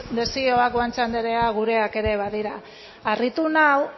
desioak guanche andrea gureak ere badira harritu nau